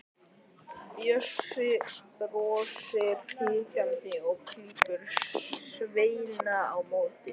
Bjössi brosir hikandi og klípur Svenna á móti.